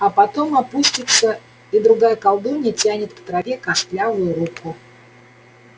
а потом опустится и другая колдунья тянет к траве костлявую руку